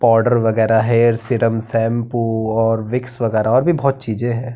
Powder वगेरा hair serum shampoo और Vicks वगेरा और भी बोहोत चीजे हैं।